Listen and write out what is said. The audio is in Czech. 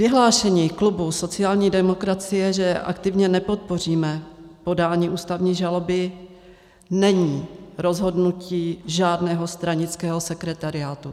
Vyhlášení klubu sociální demokracie, že aktivně nepodpoříme podání ústavní žaloby, není rozhodnutí žádného stranického sekretariátu.